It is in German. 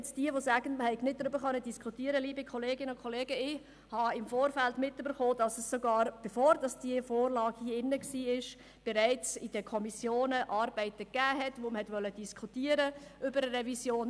Alle, welche sagen, wir hätten nicht diskutieren können: Liebe Kolleginnen und Kollegen, ich habe im Vorfeld erfahren, dass es sogar bevor diese Vorlage im Rat war bereits in den Kommissionen Arbeiten gab, bei welchen man über eine Revision diskutierte.